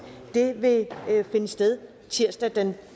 vil finde sted tirsdag den